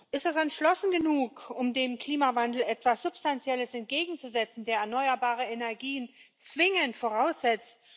Ist das entschlossen genug, um dem Klimawandel etwas Substanzielles entgegenzusetzen, der erneuerbare Energien zwingend voraussetzt?